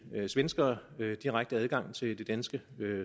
svenskere direkte adgang til det danske